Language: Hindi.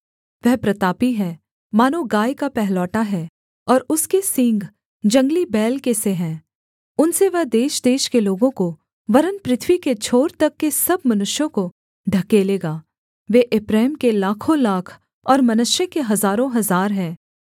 वह प्रतापी है मानो गाय का पहिलौठा है और उसके सींग जंगली बैल के से हैं उनसे वह देशदेश के लोगों को वरन् पृथ्वी के छोर तक के सब मनुष्यों को ढकेलेगा वे एप्रैम के लाखोंलाख और मनश्शे के हजारोंहजार हैं